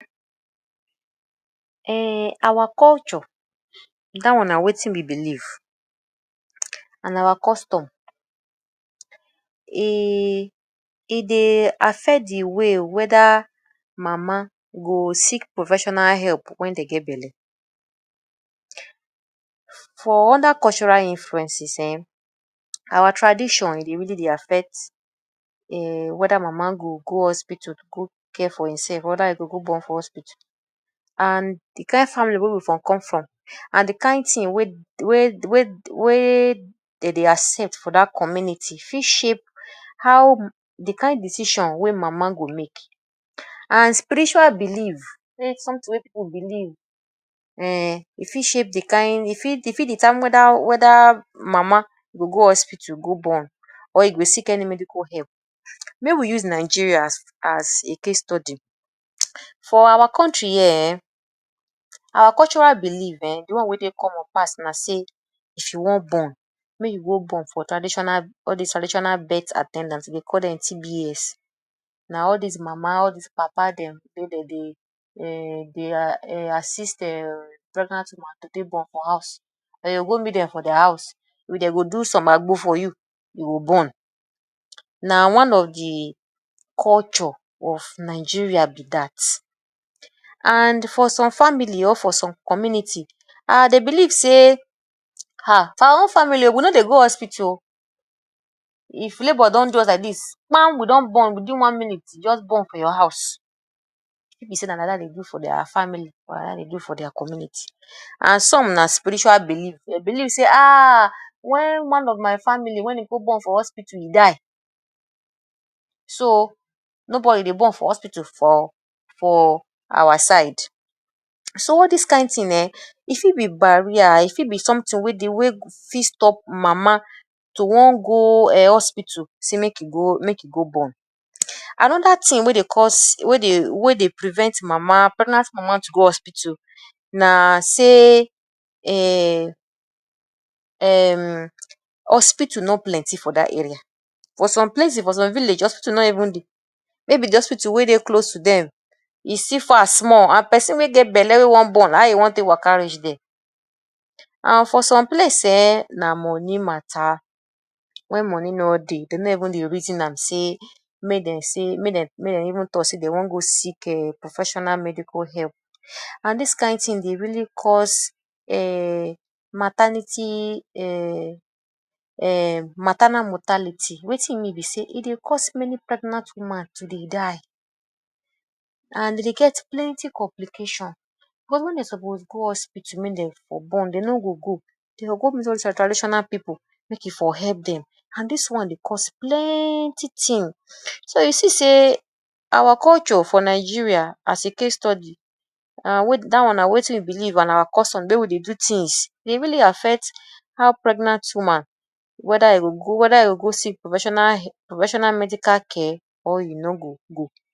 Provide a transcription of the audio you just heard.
Um our culture dat one na wetin we belief and our custom, e e dey affect de way whether mama go seek professional help wen dey get belle. For other cultural influences um our tradition e dey really dey affect um whether mama go go hospital go care for im self whether e go go born for hospital and de kain family wey we for come from and de kain thing wey dey dey accept for dat community fit shape how de kain decision wey mama go make. And spiritual belief wey something wey pipu belief um, e fit shape de Kain e fit e fit determine whether whether mama go go hospital go born or e go seek any medical help. Make we use Nigeria as as a case study. For our country here um, our cultural belief um de one wey dey common pass na sey if you wan born make you go born for traditional all dis traditional birth at ten dant, we dey call dem TBS. Na all dis mama, all dis papa dem wey dem dey um dey assist um pregnant women to take born for house, dey go go meet dem for house, dey go do some agbo for you, you go born. Na one of de culture of Nigeria be dat and for some family or for some community um dey believe sey, um for our own family we no dey go hospital o, if labour don do use like dis we don born within one minute we just born for your house. E fit be sey na like dat dem dey do for their family or na like dat dem dey do for their community. And some na spiritual belief, dey belief sey aah, wen one of my family wen e go born for hospital, e die. So nobody dey born for hospital for for our side. So all dis kain thing um e fit be barrier, e fit be something wey dey wey fit stop mama to wan go um hospital sey make e go make e go born. Another thing wey dey cause wey dey wey dey prevent mama pregnant mama to go hospital na sey um hospital no plenty for dat area. For some places for some village hospital no even dey maybe de hospital wey dey close to dem e still far small and person wey get belle wey wan born how e wan take waka reach there?. And for some place um na money matter. Wen money no dey dey no even dey reason am sey make dem sey make dem make dem even talk sey dey wan go seek um professional medical help and dis kain thing dey really cause um maternity um maternal mortality. Wetin e mean be sey e dey cause many pregnant woman to dey die and e dey get plenty complication. Cause wen dey suppose go hospital make dem for born, dey no go go. Dey go go meet all dis our traditional pipu make e for help dem and dis one dey cause plenty thing. So you see sey our culture for Nigeria as a case study and dat one na wetin e belief and our custom, de way we dey do things e really affect how pregnant woman whether e go go whether e go go seek professional professional medical care or you no go go.